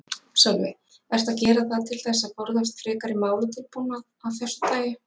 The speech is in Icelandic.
Sölvi: Ertu að gera það til þess að forðast frekari málatilbúnað af þessu tagi?